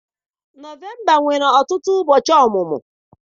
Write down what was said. Nọvemba nwere ọtụtụ ụbọchị ọmụmụ.